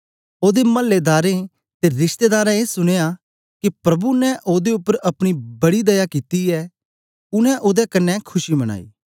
ओदे मल्लेदारें ते रिशतेदारें ए सुनया के प्रभु ने ओदे उपर अपनी बड़ी दया कित्ती ऐ उनै ओदे कन्ने खुशी मनाई